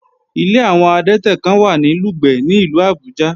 Ilé àwọn adẹ́tẹ̀ kán wà ní Lùgbẹ̀ ní ìlú Àbújá